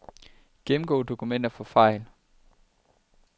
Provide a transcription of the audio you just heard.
Gennemgå dokumenter for fejl.